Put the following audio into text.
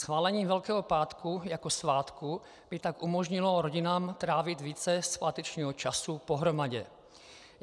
Schválení Velkého pátku jako svátku by tak umožnilo rodinám trávit více svátečního času pohromadě.